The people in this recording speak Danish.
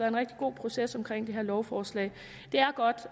en rigtig god proces omkring det her lovforslag det er godt